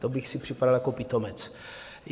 To bych si připadal jako pitomec.